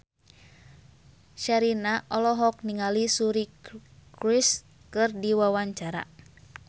Sherina olohok ningali Suri Cruise keur diwawancara